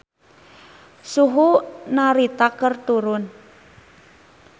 Suhu di Narita keur turun